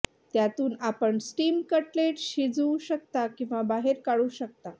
त्यातून आपण steam cutlet शिजवू शकता किंवा बाहेर काढू शकता